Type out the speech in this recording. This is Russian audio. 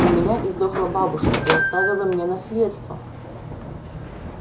у меня издохла бабушка и оставила мне наследство